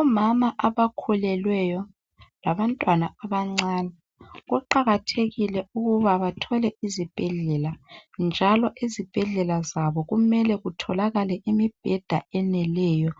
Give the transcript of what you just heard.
Omama abakhulelweyo labantwana abancane kuqakathekile ukuba bathole izibhedlela njalo ezibhedlela zabo kumele kutholakale imibheda eneleyo.